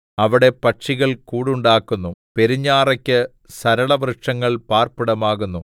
അവിടെ പക്ഷികൾ കൂടുണ്ടാക്കുന്നു പെരുഞാറയ്ക്ക് സരളവൃക്ഷങ്ങൾ പാർപ്പിടമാകുന്നു